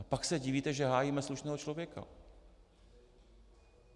A pak se divíte, že hájíme slušného člověka.